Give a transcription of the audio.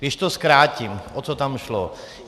Když to zkrátím, o co tam šlo?